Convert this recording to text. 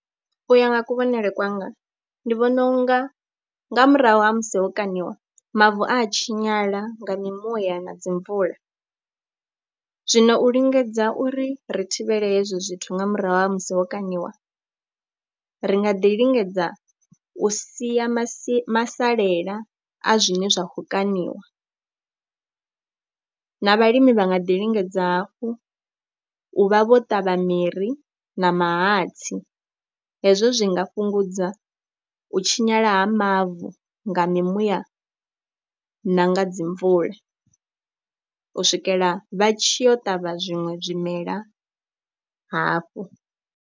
Iya nga kuvhonele kwanga ndi vhona u nga nga murahu ha musi ho kaṋiwa mavu a tshinyala nga mimuya na dzi mvula, zwino u lingedza uri ri thivhele hezwo zwithu nga murahu ha musi ho kaṋiwa. Ri nga ḓi lingedza u sia masi masalela a zwine zwa kho kaṋiwa na vhalimi vha nga ḓi lingedza hafhu u vha vho ṱavha miri na mahatsi, hezwo zwi nga fhungudza u tshinyala ha mavu nga mimuya na nga dzi mvula u swikela vha tshi yo ṱavha zwiṅwe zwimela hafhu.